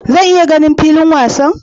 Zan iya ganin filin wasan?